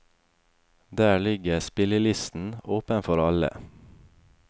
Der ligger spillelisten, åpen for alle.